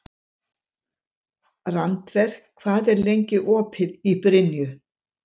Randver, hvað er lengi opið í Brynju?